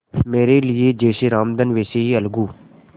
मेरे लिए जैसे रामधन वैसे अलगू